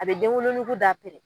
A bɛ denwolonugu da